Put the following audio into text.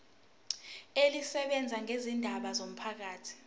elisebenza ngezindaba zomphakathi